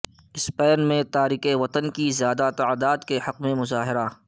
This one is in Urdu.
سپین میں تارکن وطن کی زیادہ تعداد کے حق میں مظاہرہ